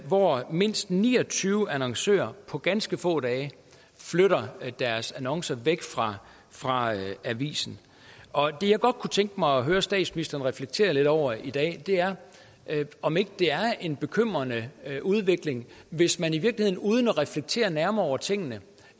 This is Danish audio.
hvor mindst ni og tyve annoncører på ganske få dage flytter deres annoncer væk fra fra avisen det jeg godt kunne tænke mig at høre statsministeren reflektere lidt over i dag er om ikke det er en bekymrende udvikling hvis man i virkeligheden uden at reflektere nærmere over tingene